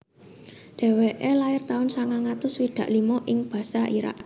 Dheweke lair taun sangang atus swidak limo ing Basra Irak